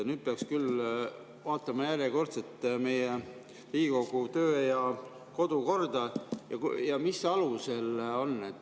Nüüd peaks küll vaatama järjekordselt Riigikogu töö‑ ja kodukorda, et mis alused seal on.